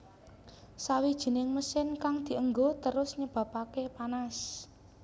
Sawijining mesin kang dienggo terus nyebabake panas